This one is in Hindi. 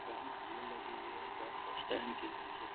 बहुत भीड़ लगी हुई है बस स्टैंड के नीचे --